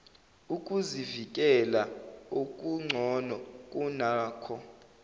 ukuzivikela okugcono kunakho